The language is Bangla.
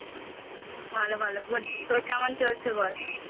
ভালো ভালো good তোর কেমন চলছে বল?